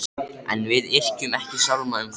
En við yrkjum ekki sálma um þá.